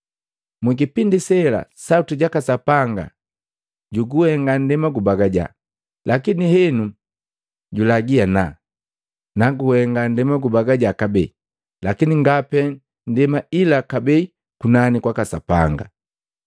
Mu kipindi sela sauti jaka Sapanga juguhenga nndema gubagaja, lakini henu julagii ana: “Naguhenga nndema gubagaja kabee, lakini nga pee ndema ila kabee kunani kwaka Sapanga.”